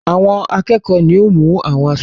Àwọn akẹ́kọ̀ọ́ ni ó mú àwọn aṣojú wọn.